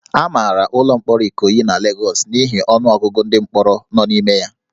A mara ụlọ mkpọrọ Ikoyi na Lagos n'ihi ọnụ ọgụgụ ndị mkpọrọ nọ n'ime ya